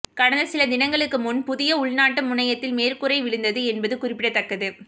கடந்த சில தினங்களுக்கு முன் புதிய உள்நாட்டு முனையத்தில் மேற்கூரை விழுந்தது என்பது குறிப்பிடத்தக்கது